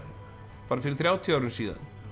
bara fyrir þrjátíu árum síðan